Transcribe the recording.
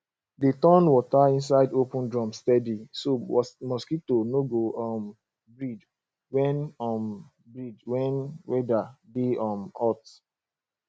dey turn water inside open drum steady so mosquito no go um breed when um breed when weather dey um hot